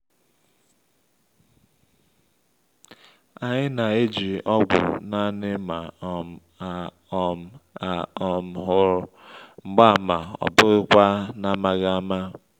anyị na-eji ọgwụ naanị ma um a um a um hụ mgbaàmà ọ bụghị kwa n’amaghị ama